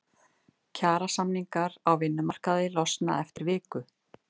Kjarasamningar á vinnumarkaði losna eftir viku